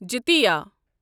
جتِیا